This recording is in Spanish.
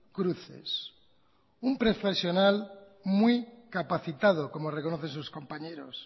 cruces un profesional muy capacitado como reconocen sus compañeros